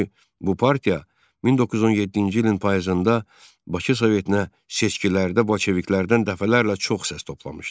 Çünki bu partiya 1917-ci ilin payızında Bakı Sovetinə seçkilərdə bolşeviklərdən dəfələrlə çox səs toplamışdı.